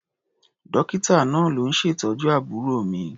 Dọ́kítà náà ló ń ṣètọ́jú àbúrò mi.